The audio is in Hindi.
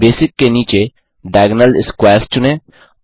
बेसिक के नीचे डायगोनल स्क्वेयर्स चुनें